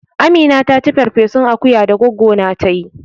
Amina taci ferfesun akuya da goggo na ta yi